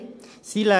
examiner si